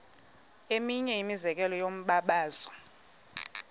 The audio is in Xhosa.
eminye imizekelo yombabazo